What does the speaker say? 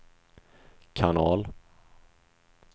kanal